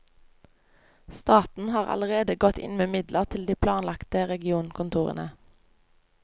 Staten har allerede gått inn med midler til de planlagte regionkontorene.